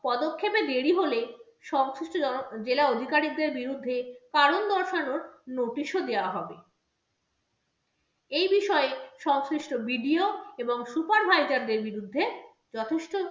পদক্ষেপে দেরি হলে সংশ্লিষ্ট জেলা অধিকারীদের বিরুদ্ধে কারণ দর্শানোর notice ও দেওয়া হবে এই বিষয়ে সংশ্লিষ্ট BDO এবং supervisor দের বিরুদ্ধে যথেষ্ট